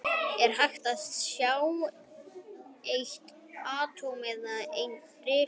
Er hægt að sjá eitt atóm eða eina rafeind?